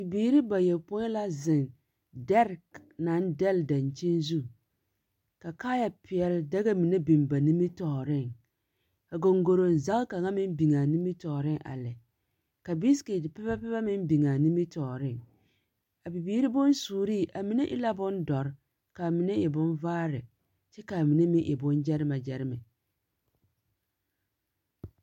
Bibiiri bayopõi la zeŋ dɛre naŋ dɛle daŋkyini zu. Ka goŋgoroŋ zage kaŋa meŋ biŋ a nimitɔɔreŋ a lɛ. ka biisiketi pepapepa meŋ biŋ a nimitɔɔreŋ. A bibiiri bonsuuri, a mine e la bondoɔre ka mine e bonvaare kyɛ ka mine meŋe boŋgyɛremɛgyɛmɛ.